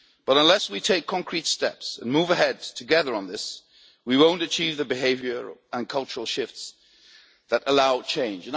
But unless we take concrete steps and move ahead together on this, we won't achieve the behavioural and cultural shifts that allow change.